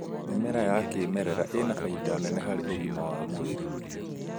Mĩmera ya kĩmerera ĩna baida nene harĩ ũgima wa mwĩrĩ